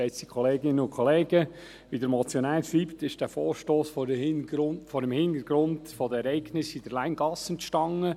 Wie der Motionär schreibt, entstand dieser Vorstoss vor dem Hintergrund der Ereignisse in der Länggasse.